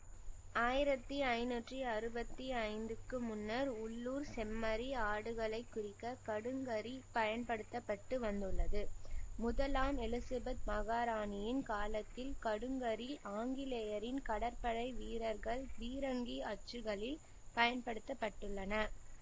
ஆயிரத்தி ஐநூற்றி அறுபத்தி ஐந்துக்கு முன்னர் உள்ளூர் செம்மறி ஆடுகளைக் குறிக்க கடுங்கரி பயன்படுத்த பட்டு வந்துள்ளது முதலாம் எலிசபத் மகாராணியின் காலத்தில் கடுங்கரி ஆங்கிலேயரின் கடற்படை வீரர்கள் பீரங்கி அச்சுகளில் பயன்படுத்தப்பட்டுள்ளன